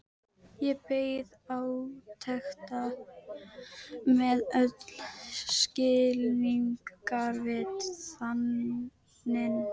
Ég beið átekta með öll skilningarvit þanin.